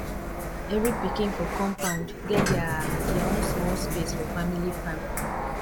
every pikin for compound get there there own small space for family farm